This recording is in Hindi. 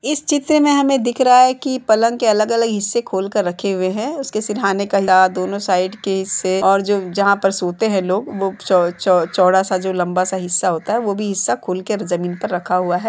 इस चित्र हमें दिख रहा है की पलंग के अलग-अलग हिस्से खोलकर रखे हुए हैं उसके सिरहाने का दोनों साइड के हिस्से और जो जहाॅं पर सोते हैं। लोग वो -चो-चो-चो-चोड़ा जो लंबा सा हिस्सा होता है वो भी हिस्सा खोलकर जमीन पर रखा हुआ है।